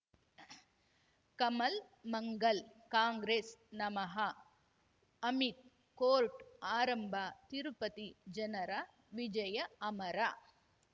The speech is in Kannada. ಕಮಲ್ ಮಂಗಲ್ ಕಾಂಗ್ರೆಸ್ ನಮಃ ಅಮಿತ್ ಕೋರ್ಟ್ ಆರಂಭ ತಿರುಪತಿ ಜನರ ವಿಜಯ ಅಮರ